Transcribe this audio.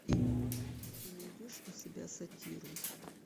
ты найдешь у себя сатиру